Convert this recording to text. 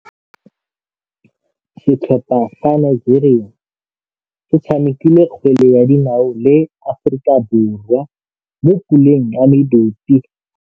Setlhopha sa Nigeria se tshamekile kgwele ya dinaô le Aforika Borwa mo puleng ya medupe.